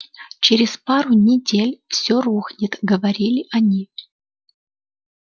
через пару недель все рухнет говорили они